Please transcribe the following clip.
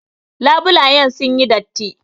Labulayen sun yi datti.